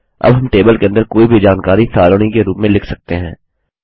अब हम टेबल के अंदर कोई भी जानकारी सारणी के रूप में लिख सकते हैं